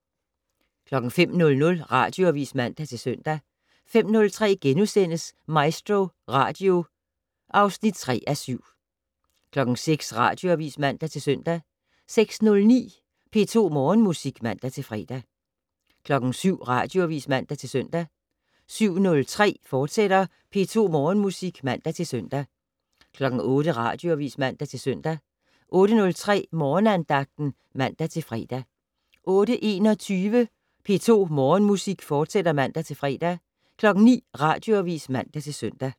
05:00: Radioavis (man-søn) 05:03: MaestroRadio (3:7)* 06:00: Radioavis (man-søn) 06:09: P2 Morgenmusik (man-fre) 07:00: Radioavis (man-søn) 07:03: P2 Morgenmusik, fortsat (man-søn) 08:00: Radioavis (man-søn) 08:03: Morgenandagten (man-fre) 08:21: P2 Morgenmusik, fortsat (man-fre) 09:00: Radioavis (man-søn)